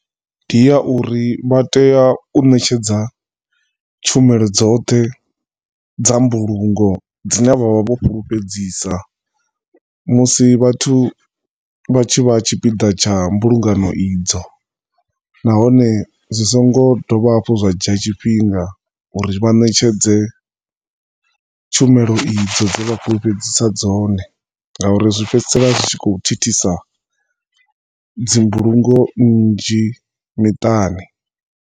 Ndi ya uri vha tea u ṋetshedza tshumelo dzoṱhe dza mbulungo dzine vha vha vho fhulufhedzisa musi vhathu vhatshi vha tshipiḓa tsha mbulungano idzo, nahone zwisingo dovha hafhu zwa dzhia tshifhinga uri vha ṋetshedze tshumelo idzo dze vha fhulefhedzisa dzone ngauri zwi fhedzisela zwi kho thithisa dzi mbulungo nnzhi miṱani.